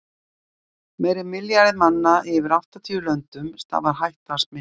Meira en milljarði manna í yfir áttatíu löndum stafar hætta af smiti.